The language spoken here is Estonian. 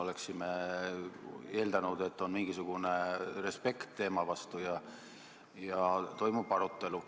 Oleksime eeldanud, et on mingisugune respekt teema vastu ja toimub arutelu.